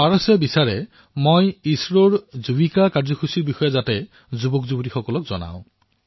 পাৰসে বিচাৰিছে যে ইছৰৰ যুবিকা কাৰ্যসূচীৰ বিষয়ে যাতে মই মোৰ তৰুণ বন্ধুসকলক জনাও